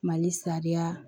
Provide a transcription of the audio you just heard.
Mali sariya